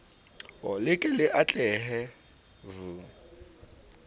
le ke le atlehe v